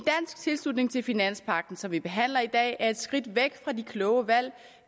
tilslutning til finanspagten som vi behandler i dag er et skridt væk fra de kloge valg